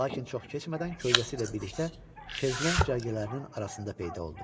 Lakin çox keçmədən kölgəsi ilə birlikdə şezlonq cərgələrinin arasında peyda oldu.